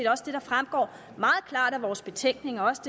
også det der fremgår meget klart af vores betænkning også